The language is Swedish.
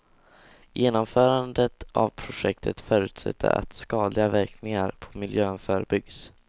Genomförandet av projektet förutsätter att skadliga verkningar på miljön förebyggs.